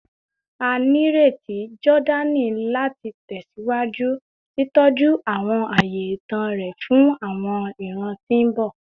A nireti Jordani lati tẹsiwaju titọju awọn aaye itan rẹ fun awọn iran ti mbọ